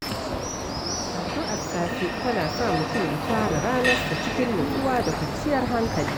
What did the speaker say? Addu’ar safe tana sa mutum ya fara ranarsa cikin nutsuwa da kwanciyar hankali.